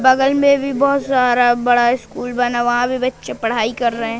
बगल मे भी बहोत सारा बड़ा स्कूल बना हुआ वहां भी बच्चे पढ़ाई कर रहे--